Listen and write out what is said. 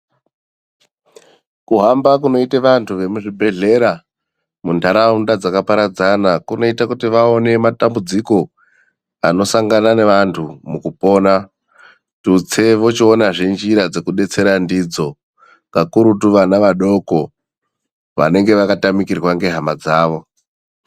Kuhamba kunoita vantu vemuzvibhedhlera mundaraunda dzakaparadzana kunoita vaone matambudziko anosangana nevantu mukupona tutsei vachiona zve nzira dzekupona ndidzo kakurutu vana vadoko vanenge vakatamirwa ngehama dzavo.